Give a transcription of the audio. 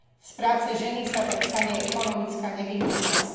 Z práce ženy sa tak stane ekonomická nevyhnutnosť.